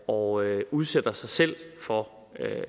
og udsætter sig selv for